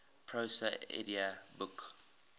prose edda book